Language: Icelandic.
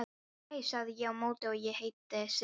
Hæ, sagði ég á móti, ég heiti Sif.